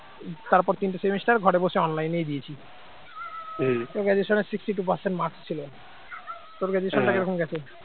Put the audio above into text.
তারপর তিনটে semester ঘরে বসে online ই দিয়েছি graduation এর sixty two percent ছিল তোর graduation কিরকম গেছে